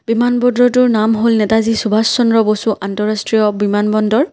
বিমাবন্দৰটো নাম হ'ল নেতাজী সুভাষ চন্দ্ৰ বসু অন্তঃৰাষ্ট্ৰীয় বিমানবন্দৰ।